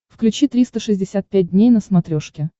включи триста шестьдесят пять дней на смотрешке